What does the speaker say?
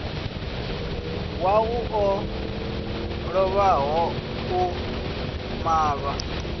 wau o lovhaho u malwa